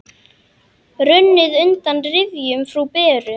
Runnið undan rifjum frú Beru.